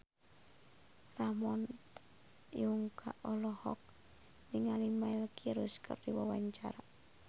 Ramon T. Yungka olohok ningali Miley Cyrus keur diwawancara